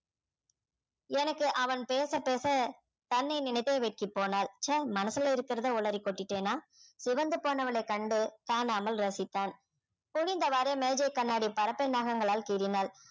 எனக்கு அவன் பேச பேச தன்னை நினைத்தே வெக்கி போனாள் ச்சே மனசுல இருக்கறதை உளறி கொட்டிட்டேனா சிவந்து போனவளை கண்டு காணாமல் ரசித்தான் குனிந்தவாறே மேஜை கண்ணாடி பரப்பி நகங்களால் கீறினாள்